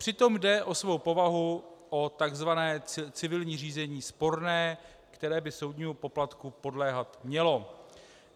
Přitom jde o svou povahu o tzv. civilní řízení sporné, které by soudnímu poplatku podléhat mělo.